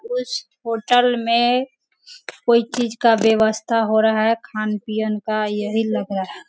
कुछ होटल में कोई चीज का व्यवस्था हो रहा है खान पीयन का यही लग रहा।